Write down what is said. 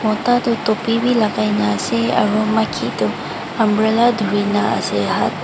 mota to tupi be lakai kena ase kun to maki tu umbrella thuri kena ase hath.